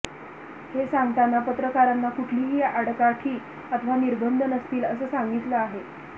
हे सांगताना पत्रकारांना कुठलीही आडकाठी अथवा निर्बंध नसतील असं सांगितलं आहे